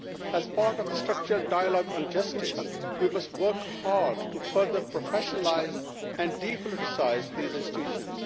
As part of the structural dialogue on justice, we must work hard to further professionalise and depoliticise these institutions.